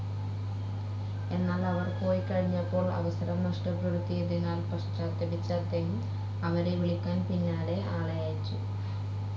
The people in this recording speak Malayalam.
എന്നാൽ അവർ പോയിക്കഴിഞ്ഞപ്പോൾ, അവസരം നഷ്ടപ്പെടുത്തിയതിനാൽ പശ്ചാത്തപിച്ച അദ്ദേഹം അവരെ വിളിക്കാൻ പിന്നാലെ ആളയച്ചു.